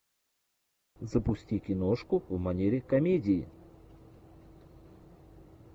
запусти киношку в манере комедии